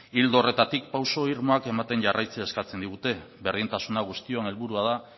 ildo horretatik pausu irmoak ematen jarraitzen eskatzen digute berdintasuna guztion helburua da